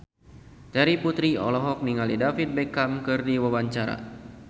Terry Putri olohok ningali David Beckham keur diwawancara